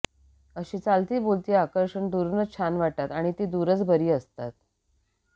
अशी चालती बोलती आकर्षणं दुरूनच छान वाटतात आणि ती दुरच बरी असतात